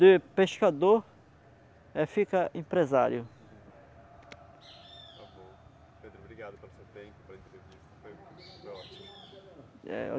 De pescador é fica empresário. Está bom, pedro obrigado pelo seu tempo foi ótimo. Eh